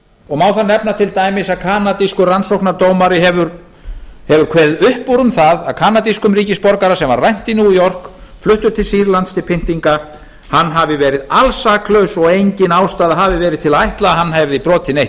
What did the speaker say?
og má þar nefna til dæmis að kanadískur rannsóknardómari hefur kveðið upp úr um það að kanadískur ríkisborgara sem var rænt í new york fluttur til sýrlands til pyndinga hafi verið alsaklaus og engin ástæða hafi verið til að ætla að hann hafi brotið neitt